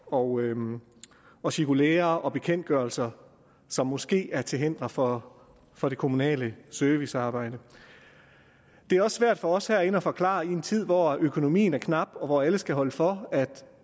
og og cirkulærer og bekendtgørelser som måske er til hinder for for det kommunale servicearbejde det er svært for os herinde at forklare i en tid hvor økonomien er knap og hvor alle skal holde for at